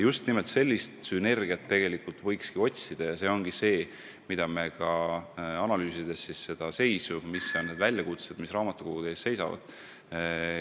Just nimelt sellist sünergiat võikski otsida ja seda leida me soovimegi, kui analüüsime praegust seisu ja väljakutseid, mis raamatukogude ees seisavad.